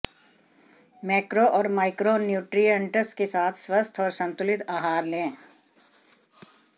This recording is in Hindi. मैक्रो और माइक्रो न्यूट्रीअंट्स के साथ स्वस्थ और संतुलित आहार लें